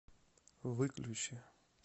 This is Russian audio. выключи